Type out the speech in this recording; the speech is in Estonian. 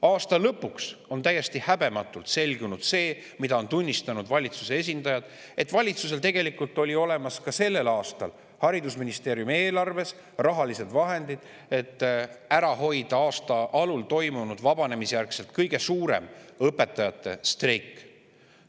Aasta lõpuks on täiesti häbematult selgunud – seda on tunnistanud valitsuse esindajad –, et valitsusel tegelikult olid ka sellel aastal haridusministeeriumi eelarves olemas rahalised vahendid, et ära hoida aasta alul toimunud vabanemisjärgse aja kõige suurem õpetajate streik.